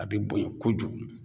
A bɛ bonya kojugun